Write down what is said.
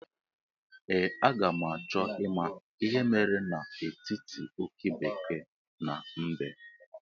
Ee, a ga m achọ ịma ihe mere n'etiti oke bekee na mbe